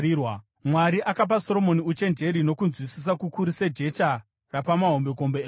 Mwari akapa Soromoni uchenjeri, nokunzwisisa kukuru sejecha rapamahombekombe egungwa.